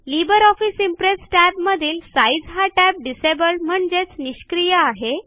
Libre office impress टॅबमधील size हा tab disabled म्हणजेच निष्क्रीय आहे